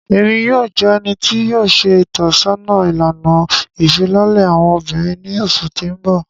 Emi yoo jẹ ẹni ti yoo ṣe itọsọna ilana ifilọlẹ awọn obinrin ni oṣu ti n bọ.